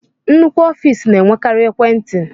Nnukwu ọfiisi na-enwekari ekwentị.